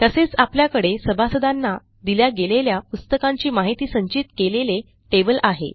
तसेच आपल्याकडे सभासदांना दिल्या गेलेल्या पुस्तकांची माहिती संचित केलेले टेबल आहे